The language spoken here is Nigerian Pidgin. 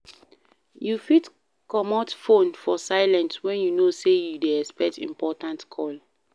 You fit comot phone for silent when you know sey you dey expect important call